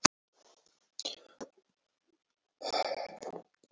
Lýsingar þeirra á húsakynnum og aðstæðum þessa fólks voru ævintýri líkastar.